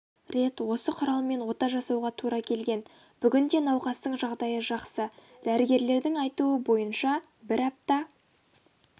рет осы құралмен ота жасауға тура келген бүгінде науқастың жағдайы жақсы дәрігерлердің айтуынша бір апта